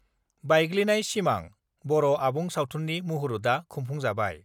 बायग्लिनाय सिमां 'बर' आबुं सावथुननि मुहुरतआ खुंफुंजाबाय